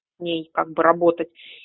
ней как бы работать